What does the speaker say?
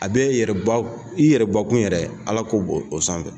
A b'e yɛrɛba i yɛrɛ bakun yɛrɛ alako b'o sanfɛ.